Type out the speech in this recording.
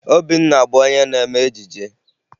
Obinna bụ onye na-eme ejije